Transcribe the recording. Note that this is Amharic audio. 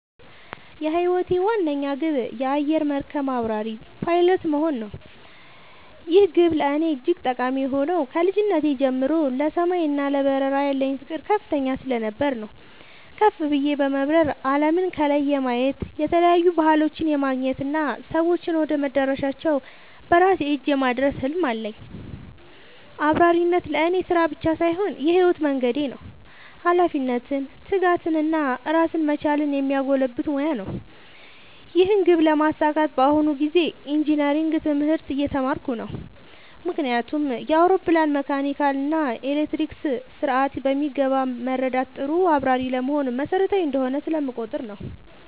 የህይወቴ ዋነኛ ግብ የአየር መርከብ አብራሪ (Pilot) መሆን ነው። ይህ ግብ ለእኔ እጅግ ጠቃሚ የሆነው ከልጅነቴ ጀምሮ ለሰማይ እና ለበረራ ያለኝ ፍቅር ከፍተኛ ስለነበር ነው። ከፍ ብዬ በመብረር አለምን ከላይ የማየት፣ የተለያዩ ባህሎችን የማገናኘት እና ሰዎችን ወደ መዳረሻቸው በራሴ እጅ የማድረስ ህልም አለኝ። አብራሪነት ለእኔ ስራ ብቻ ሳይሆን የህይወት መንገዴ ነው - ኃላፊነትን፣ ትጋትን እና ራስን መቻልን የሚያጎለብት ሙያ ነው። ይህን ግብ ለማሳካት በአሁኑ ጊዜ ኢንጂነሪንግ (Engineering) ትምህርት እየተማርኩ ነው። ምክንያቱም የአውሮፕላንን መካኒካል እና ኤሌክትሮኒክስ ስርዓት በሚገባ መረዳት ጥሩ አብራሪ ለመሆን መሰረታዊ እንደሆነ ስለምቆጠር ነው።